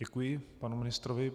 Děkuji panu ministrovi.